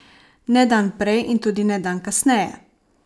Ne dan prej in tudi ne dan kasneje!